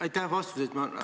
Aitäh vastuse eest!